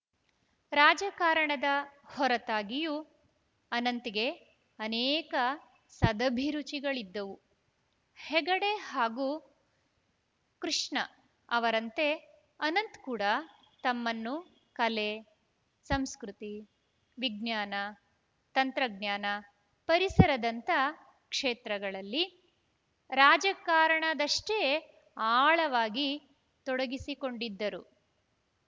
ರಾಜಕಾರಣದ ಹೊರತಾಗಿಯೂ ಅನಂತ್‌ಗೆ ಅನೇಕ ಸದಭಿರುಚಿಗಳಿದ್ದವು ಹೆಗಡೆ ಹಾಗೂ ಕಷ್ಣ ಅವರಂತೆ ಅನಂತ್‌ ಕೂಡ ತಮ್ಮನ್ನು ಕಲೆ ಸಂಸ್ಕೃತಿ ವಿಜ್ಞಾನ ತಂತ್ರಜ್ಞಾನ ಪರಿಸರದಂಥ ಕ್ಷೇತ್ರಗಳಲ್ಲಿ ರಾಜಕಾರಣದಷ್ಟೇ ಆಳವಾಗಿ ತೊಡಗಿಸಿಕೊಂಡಿದ್ದರು